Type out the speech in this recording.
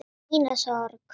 Mína sorg.